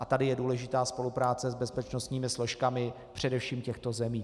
A tady je důležitá spolupráce s bezpečnostními složkami především těchto zemí.